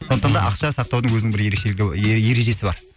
сондықтан да ақша сақтаудың өзінің бір ерекшелігі е ережесі бар